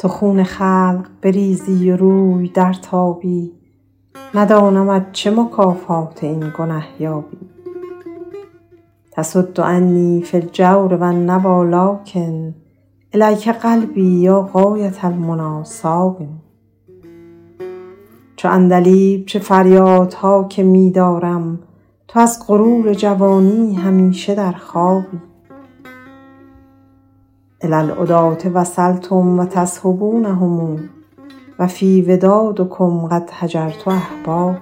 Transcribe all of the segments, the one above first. تو خون خلق بریزی و روی درتابی ندانمت چه مکافات این گنه یابی تصد عنی فی الجور و النویٰ لٰکن إلیک قلبی یا غایة المنیٰ صاب چو عندلیب چه فریادها که می دارم تو از غرور جوانی همیشه در خوابی إلی العداة وصلتم و تصحبونهم و فی ودادکم قد هجرت أحبابی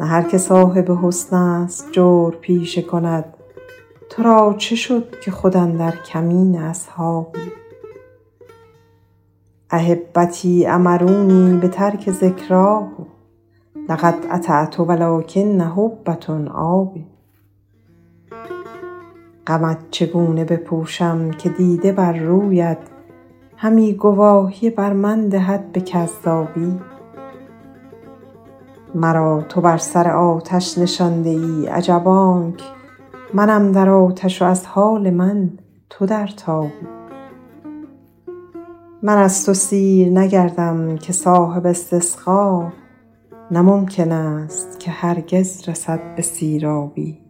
نه هر که صاحب حسن است جور پیشه کند تو را چه شد که خود اندر کمین اصحابی أحبتی أمرونی بترک ذکراه لقد أطعت و لٰکن حبه آب غمت چگونه بپوشم که دیده بر رویت همی گواهی بر من دهد به کذابی مرا تو بر سر آتش نشانده ای عجب آنک منم در آتش و از حال من تو در تابی من از تو سیر نگردم که صاحب استسقا نه ممکن است که هرگز رسد به سیرابی